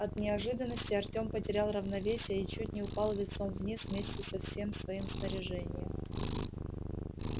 от неожиданности артём потерял равновесие и чуть не упал лицом вниз вместе со всем своим снаряжением